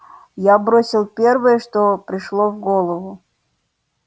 я бросил первое что пришло в голову